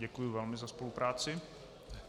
Děkuji velmi za spolupráci.